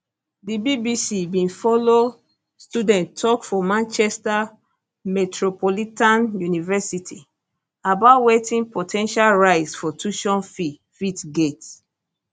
di bbc bin follow student tok for manchester metropolitan university about wetin po ten tial rise for tuition fees fit get